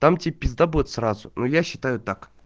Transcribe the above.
так тебе пизда будет сразу ну я считаю так